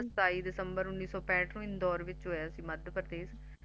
ਜਨਮ ਸਤਾਈ ਦਸੰਬਰ ਉੱਨੀ ਸੌ ਪੈਠ ਨੂੰ ਇੰਦੌਰ ਵਿੱਚ ਹੋਇਆ ਸੀ ਮੱਧ ਪ੍ਰਦੇਸ਼